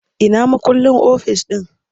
Ina mukullin ofis ɗin?